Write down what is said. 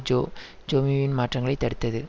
Joe ஜோவிபி மாற்றங்களை தடுத்தது